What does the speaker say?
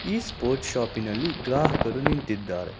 ಈ ಸ್ಪೋರ್ಟ್ಸ್ ಶಾಪಿನಲ್ಲಿ ಗ್ರಾಹಕರು ನಿಂತಿದ್ದಾರೆ.